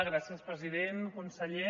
gràcies president conseller